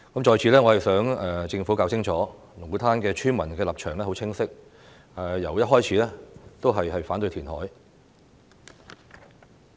在此，我想政府弄清楚，龍鼓灘村民的立場很清晰，由一開始都是反對填海。